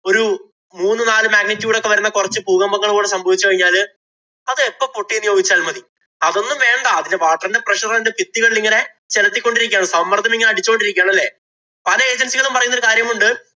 ഒരു മൂന്നു നാലു magnitude ഒക്കെ വരുന്ന കൊറച്ച് ഭൂകമ്പങ്ങള് ഇവിടെ സംഭവിച്ചു കഴിഞ്ഞാല് അത് എപ്പം പൊട്ടിയെന്ന് ചോദിച്ചാല്‍ മതി. അതൊന്നും വേണ്ട അതിന്‍റെ water ന്‍റെ preassure ഇങ്ങനെ ചെലുത്തി കൊണ്ടിരിക്കുകയാണ്. സമ്മര്‍ദ്ദം ഇങ്ങനെ അടിച്ചു കൊണ്ടിരിക്കുകയാണ് അല്ലേ? പല agency കളും പറയുന്ന ഒരു കാര്യമുണ്ട്.